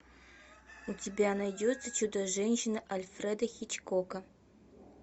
у тебя найдется чудо женщина альфреда хичкока